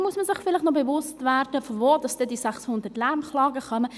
Dann muss man sich vielleicht noch bewusst werden, woher denn die 600 Lärmklagen kommen.